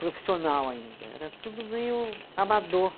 profissional ainda, era tudo meio amador.